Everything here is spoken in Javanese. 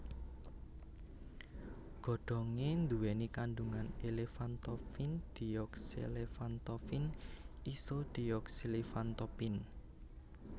Godhonge nduweni kandhungan elephantopin deoxyelephantopin isodeoxyelephantopin